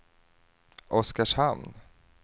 Oskarshamn